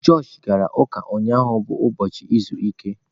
Josh gara ụka ụnyahụ bụ ụbọchị izu ike.